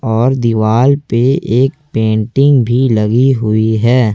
और दीवाल पे एक पेंटिंग भी लगी हुई है।